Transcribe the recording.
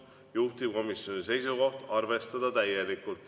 Juhtivkomisjoni seisukoht on arvestada täielikult.